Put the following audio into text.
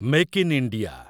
make in India